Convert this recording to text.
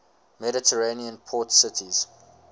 mediterranean port cities